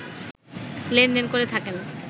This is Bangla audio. লেনদেন করে থাকেন